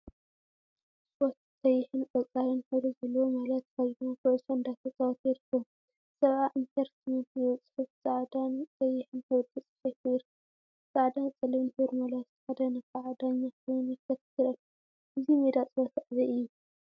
ስፖርት ቀይሕን ቆፃልን ሕብሪ ዘለዎ ማልያ ተከዲኖም ኩዕሾ እንዳ ተፃወቱ ይርከቡ፡፡ 70 ኢንተርተይመንት ዝብል ፅሑፍ ብፃዕዳን ቀይሕን ሕብሪ ተፃሒፉ ይርከብ፡፡ ፃዕዳን ፀሊምን ሕብሪ ማልያ ዝተከደነ ከዓ ዳኛ ኮይኑ ይከታተል አሎ፡፡ እዚ ሜዳ ፀወታ አበይ እዩ?